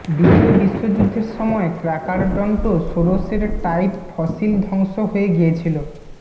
দ্বিতীয় বিশ্বযুদ্ধের সময়ে ক্রার্কারডন্টোসোরোসের টাইপ ফসিল ধ্বংস হয়ে গিয়েছিল